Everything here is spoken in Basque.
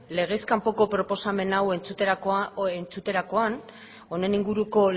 legez kanpoko proposamen hau entzuterakoaren honen inguruko